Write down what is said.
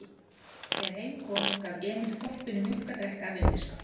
Þegar heim kom gaf Emil hvolpinum mjólk að drekka af undirskál.